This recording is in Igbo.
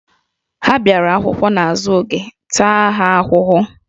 Ha bịara akwụkwọ n'azụ oge, taa ha ahụhụ!